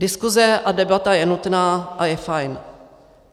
Diskuse a debata je nutná a je fajn.